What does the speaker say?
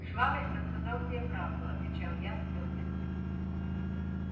швабрин рассказал тебе правду отвечал я с твёрдостью